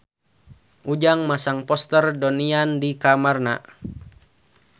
Ujang masang poster Donnie Yan di kamarna